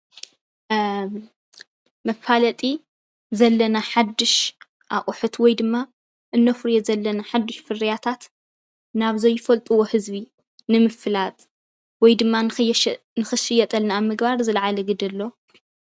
መፋለጢ ዘለና ሓዱሽ ኣቁሑት ወይ ድማ እነፍርዮ ዘለና ሓዱሽ ፍርያታት ናብ ዘይፈልጥዎ ህዝቢ ንምፍላጥ ወይ ድማ ንክሽየጠልና ኣብ ምግባር ዝለዓለ ግደ ኣለዎ።